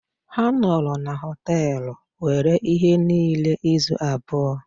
Ha nọrọ n’ụlọ Họtelu nwere ihe niile izu abụọ.